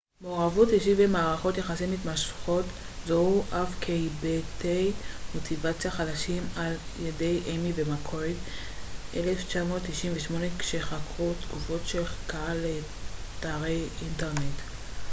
"""מעורבות אישית" ו""מערכות יחסים מתמשכות" זוהו אף הן כהיבטי מוטיבציה חדשים על ידי איימי ומקורד 1998 כשחקרו תגובות של קהל לאתרי אינטרנט.